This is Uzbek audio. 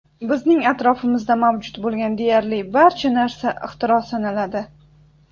Bizning atrofimizda mavjud bo‘lgan deyarli barcha narsa ixtiro sanaladi.